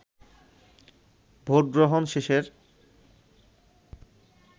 ভোটগ্রহণ শেষের